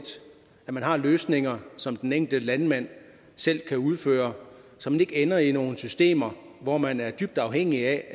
at man har løsninger som den enkelte landmand selv kan udføre så man ikke ender i nogle systemer hvor man er dybt afhængig af